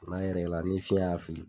N'a yɛrɛkɛla ni fiɲɛ y'a fili.